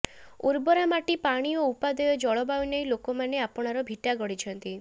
ଉର୍ବରା ମାଟି ପାଣି ଓ ଉପାଦେୟ ଜଳବାୟୁ ନେଇ ଲୋକମାନେ ଆପଣାର ଭିଟା ଗଢ଼ିଛନ୍ତି